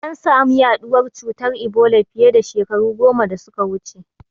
An samu yaɗuwar cutar Ebola fiye da shekaru goma da suka wuce.